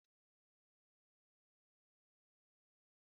Titus saidin but azụ Kom kom